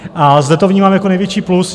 A zde to vnímám jako největší plus.